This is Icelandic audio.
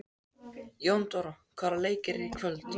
Jóndóra, hvaða leikir eru í kvöld?